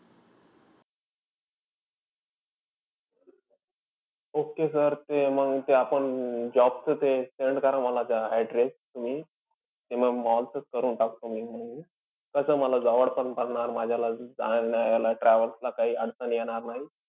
Okay sir ते मंग, ते आपण job चं ते send करा मला ते address तुम्ही. ते म mall चंच करून टाकतो मी. कसं मला जवळ पण पडणार माझ्याला जायला-यायला travels ला काई अडचण येणार नाई.